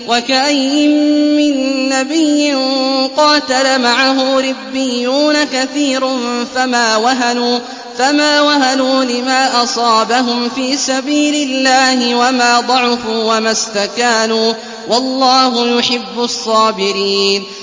وَكَأَيِّن مِّن نَّبِيٍّ قَاتَلَ مَعَهُ رِبِّيُّونَ كَثِيرٌ فَمَا وَهَنُوا لِمَا أَصَابَهُمْ فِي سَبِيلِ اللَّهِ وَمَا ضَعُفُوا وَمَا اسْتَكَانُوا ۗ وَاللَّهُ يُحِبُّ الصَّابِرِينَ